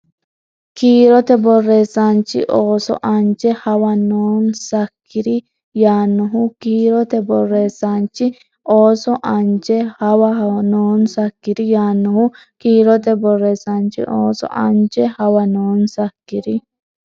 Kiirote borreessaanchi ooso anje hawa noonsakkiri yaannohu Kiirote borreessaanchi ooso anje hawa noonsakkiri yaannohu Kiirote borreessaanchi ooso anje hawa noonsakkiri.